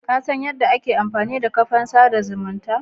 Kasan yadda ake amfanida kafan sada zumunta?